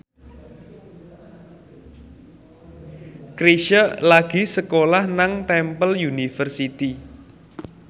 Chrisye lagi sekolah nang Temple University